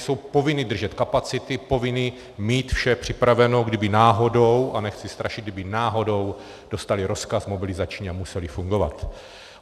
Jsou povinny držet kapacity, povinny mít vše připraveno, kdyby náhodou, a nechci strašit, kdyby náhodou dostaly rozkaz mobilizační a musely fungovat.